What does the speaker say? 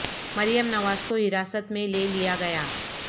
مریم نواز کو حراست میں لے لیا گیا